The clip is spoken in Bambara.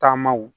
Taamaw